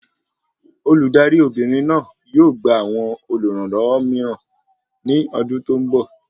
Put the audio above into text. Olùdarí Obìnrin náà yóò gba awọn olùrànlọwọ mìíràn ní ọdún tó n bọ